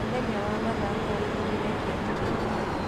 Mũthenya wa mathiko waihũrire kĩeha na maithori.